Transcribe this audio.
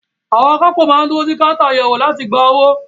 Àwọn akápò máa ń dúró sí káńtà àyẹ̀wò láti gba owó.